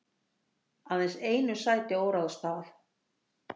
Aðeins einu sæti óráðstafað